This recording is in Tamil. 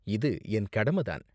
இது என் கடம தான்.